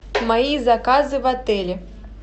мои заказы в отеле